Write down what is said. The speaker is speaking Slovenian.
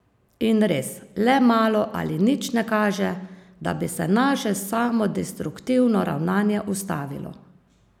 In res, le malo ali nič ne kaže, da bi se naše samodestruktivno ravnanje ustavilo.